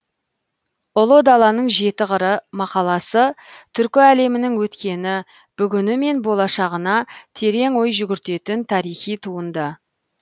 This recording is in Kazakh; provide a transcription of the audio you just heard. ұлы даланың жеті қыры мақаласы түркі әлемінің өткені бүгіні мен болашағына терең ой жүгіртетін тарихи туынды